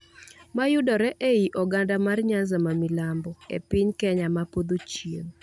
ma yudore ei oganda mar Nyanza ma Milambo, e piny Kenya ma podho chieng'.